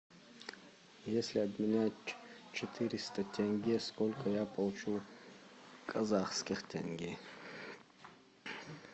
если обменять четыреста тенге сколько я получу казахских тенге